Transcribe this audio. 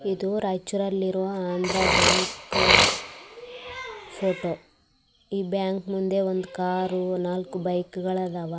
ಇದು ರೈಚೂರ್ ಅಲ್ಲಿರೋ ಅಂದ್ರ ಬ್ಯಾಂಕ್ ಫೋಟೋ ಈ ಬ್ಯಾಂಕ್ ಮುಂದೆ ಒಂದು ಕಾರ್ ನಾಲ್ಕ್ ಬೈಕ್ ಗಳು ಅದಾವ.